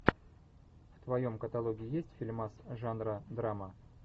в твоем каталоге есть фильмас жанра драма